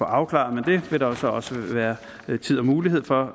afklaret men det vil der så også være tid og mulighed for